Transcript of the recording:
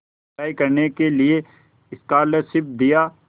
पढ़ाई करने के लिए स्कॉलरशिप दिया